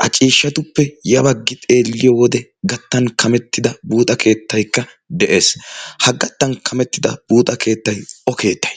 ha ciishshatuppe yabaggi xeelliyo wode gattan kamettida buuxa keettaikka de'ees. ha gattan kamettida buuxa keettay o keettay?